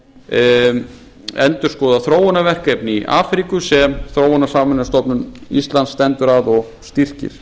skeið endurskoðað þróunarverkefni í afríku sem þróunarsamvinnustofnun íslands stendur að og styrkir